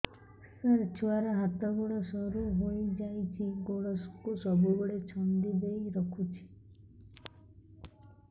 ସାର ଛୁଆର ହାତ ଗୋଡ ସରୁ ହେଇ ଯାଉଛି ଗୋଡ କୁ ସବୁବେଳେ ଛନ୍ଦିଦେଇ ରଖୁଛି